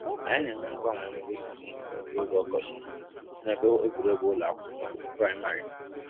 Anyị na-eme mgbanwe mkpụrụ osisi kwa oge ọkọchị na ebe egwuregwu ụlọ akwụkwọ primịrị.